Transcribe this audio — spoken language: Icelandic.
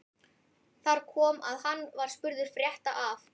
Þar kom að hann var spurður frétta af